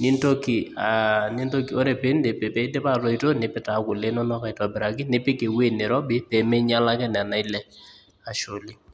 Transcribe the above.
nintoki , aa ore pindip, pidip atoito , nipik taa kule inonok aitobiraki nipik ewueji nirobi peminyiala ake nena ale, ashe oleng.